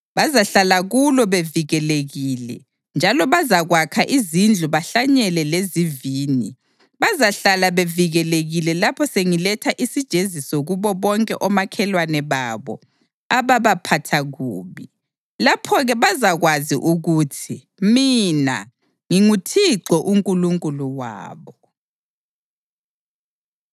Bazahlala kulo bevikelekile njalo bazakwakha izindlu bahlanyele lezivini; bazahlala bevikelekile lapho sengiletha isijeziso kubo bonke omakhelwane babo ababaphatha kubi. Lapho-ke bazakwazi ukuthi mina nginguThixo uNkulunkulu wabo.’ ”